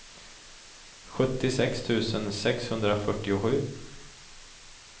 sjuttiosex tusen sexhundrafyrtiosju